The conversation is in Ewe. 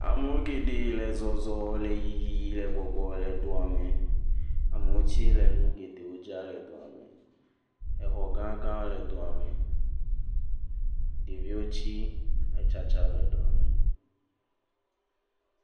Amewo geɖee le zɔzɔ le yiyi le gbɔgbɔ le doa me. Amewo tsɛ le nu geɖewo dzram le doa me. Xɔ gãgawo le doa me. Ɖeviwo tsɛ le tsatsaa le doa me.